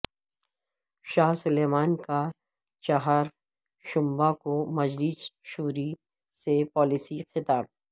شاہ Salman کا چہارشنبہ کو مجلس شوری سے پالیسی خطاب